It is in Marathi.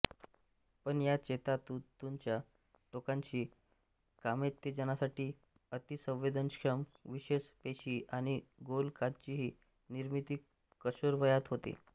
पण या चेतातंतूंच्या टोकांशी कामोत्तेजनासाठी अतीसंवेदनक्षम विशेष पेशी आणि गोलकांचीही निर्मिती किशोरवयात होते